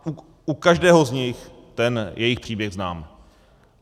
Já u každého z nich ten jejich příběh znám.